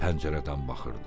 Pəncərədən baxırdı.